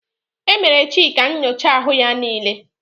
E mere Chika nyocha ahụ ya niile.